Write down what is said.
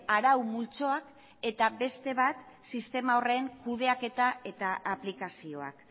arau multzoak eta beste bat sistema horren kudeaketa eta aplikazioak